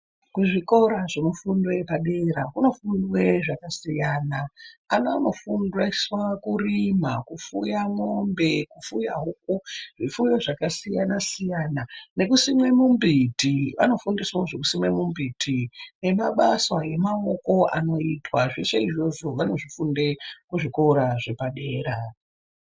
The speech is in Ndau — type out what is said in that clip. Kuzvikora zvemifundo yepadera kunofundwe zvakasiyana. Ana anofundiswe kurima, kufuye mwombe, kufuye huku, zvipfuyo zvakasiyana siyana nekusime mumbiti. Vanofundiswawozve kusime mumbiti nemabasa emaoko anoitwa zveshe izvozvo vanozvifunde kuzvikora zvepadera.